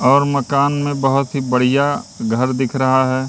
और मकान में बहुत ही बढ़िया घर दिख रहा है।